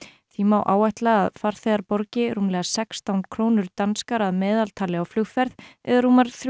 því má áætla að farþegar borgi rúmlega sextán krónur danskar að meðaltali á flugferð eða rúmar þrjú